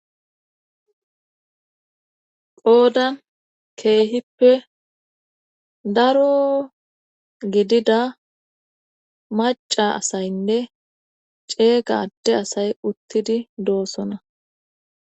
Qoodan keehippe daro gidida maca asaynne ceegade asay uttidi doosona.